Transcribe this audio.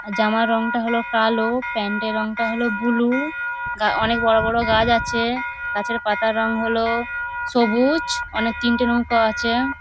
জামার রঙটা হল কালো। প্যান্ট -এর রঙটা হল বুলু । গা অনেক বড় বড় গাছ আছে। গাছের পাতার রং হল সবুজ। অনেক তিনটে নৌকো আছে।